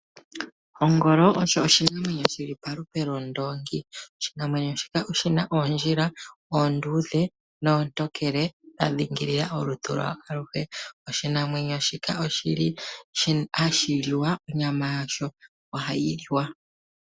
Ongolo osho oshinamwenyo shili palupe londoongi. Oshinamwenyo shika oshina oondjila oonduudhe noontokele dha dhingilila olutu lwayo aluhe, oshinamwenyo shika oshili hashi liwa, onyama yasho ohayi liwa.